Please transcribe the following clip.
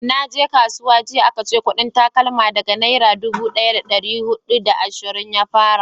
naje kasuwa jiya a ka ce kudin takalma daga nera dubu daya da dari hudu da ashirin ya fara